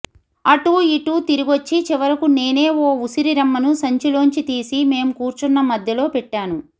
అటూ ఇటూ తిరిగొచ్చి చివరకు నేనే ఓ ఉసిరి రెమ్మను సంచిలోంచి తీసి మేం కూర్చున్న మధ్యలో పెట్టాను